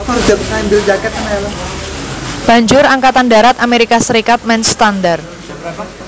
Banjur Angkatan Darat Amerika Serikat menstandar